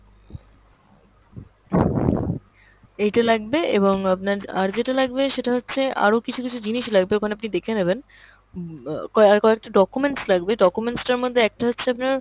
এইটা লাগবে এবং আপনার আর যেটা লাগবে সেটা হচ্ছে আরও কিছু কিছু জিনিস লাগবে ওখানে আপনি দেখে নেবেন, উম ক~ আর কয়েকটা documents লাগবে, documents টার মধ্যে একটা হচ্ছে আপনার